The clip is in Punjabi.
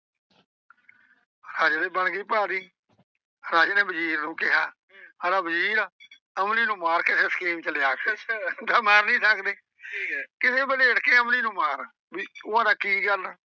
ਰਾਜੇ ਤੇ ਬਣ ਗਈ ਭਾਰੀ। ਰਾਜੇ ਨੇ ਵਜ਼ੀਰ ਨੂੰ ਕਿਹਾ, ਆਂਹਦਾ ਵਜ਼ੀਰ ਅਮਲੀ ਨੂੰ ਮਾਰ ਕੇ ਫਿਰ ਸਕੀਮ ਚ ਲਿਆ ਓਦਾਂ ਮਾਰ ਨਈਂ ਸਕਦੇ, ਕਿਵੇਂ ਵਲ੍ਹੇਟ ਕੇ ਅਮਲੀ ਨੂੰ ਮਾਰ, ਉਹ ਆਂਹਦਾ ਕੀ ਗੱਲ,